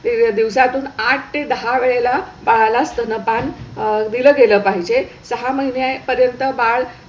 दिवसा तून आठ ते दहा वेळेला बाळाला स्तनपान दिलं गेलं पाहिजे सहा महिन्यां पर्यंत बाळ